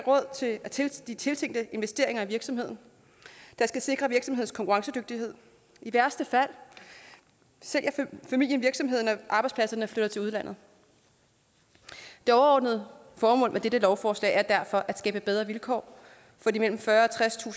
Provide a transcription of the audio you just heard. er råd til de tiltænkte investeringer i virksomheden der skal sikre virksomhedens konkurrencedygtighed i værste fald sælger familien virksomheden og arbejdspladserne flytter til udlandet det overordnede formål med dette lovforslag er derfor at skabe bedre vilkår for de mellem fyrretusind